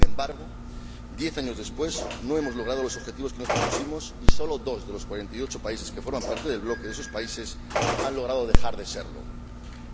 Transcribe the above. Sin embargo, diez años después, no hemos logrado los objetivos que nos propusimos y sólo dos de los cuarenta y ocho países que forman parte del bloque de esos países han logrado salir del mismo.